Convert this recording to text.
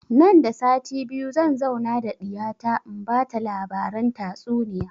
Nan da sati biyu zan zauna da ɗiya ta in bata labaran tatsuniya